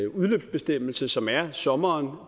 udløbsbestemmelse som er sommeren